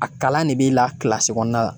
A kalan de b'e la kɔɔna la